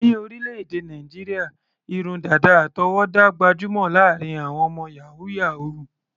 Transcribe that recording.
Ní orílẹ̀-èdè Nàìjíríà, irun dàdà àtọwọ́dá gbajúmọ̀ láàárín àwọn ọmọ yàhú-yàhuù.